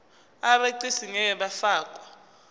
abegcis ngeke bafakwa